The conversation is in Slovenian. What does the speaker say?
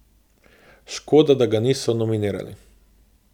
Škoda, da ga niso nominirali.